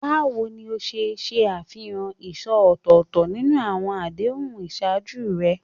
Báwo ni o ṣe ṣe àfihàn ìṣó ọ̀tọ̀ọ̀tọ̀ nínú àwọn àdéhùn ìṣáájú rẹ?